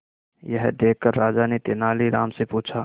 यह देखकर राजा ने तेनालीराम से पूछा